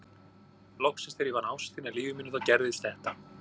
Loksins þegar ég finn ástina í lífi mínu þá gerist þetta.